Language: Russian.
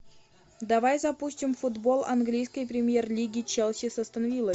давай запустим футбол английской премьер лиги челси с астон виллой